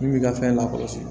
Min b'i ka fɛn lakɔlɔsi